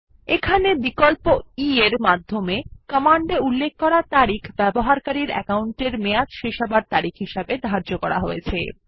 এখানে বিকল্প e এর সাহায্য কমান্ডে উল্লেখ করা তারিখ ব্যবহারকারীর অ্যাকাউন্টের মেয়াদ শেষ হওয়ার তারিখ হিসাবে ধার্য করা হয়েছে